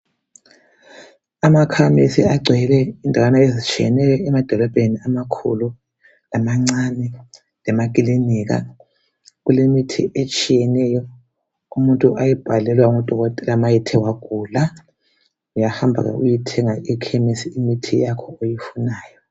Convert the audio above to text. Amakhemesi agcwele endaweni ezitshiyeneyo emadolobheni amakhulu lamancane, lemakilinika. Kulemithi etshiyeneyo umuntu oyibhalelwa ngudokotela ma ethe wagula. Uyahamba uyeyithenga emakhemisi imithi yakho oyifunayo.